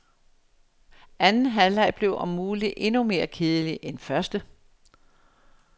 Anden halvleg blev om muligt endnu mere kedelig end første.